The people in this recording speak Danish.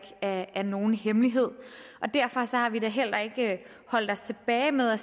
er nogen hemmelighed og derfor har vi da heller ikke holdt os tilbage med at